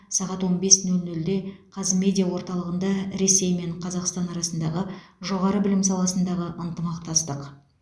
сағат он бес нөл нөлде қазмедиа орталығында ресей мен қазақстан арасындағы жоғары білім саласындағы ынтымақтастық